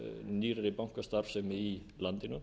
nýrri bankastarfsemi í landinu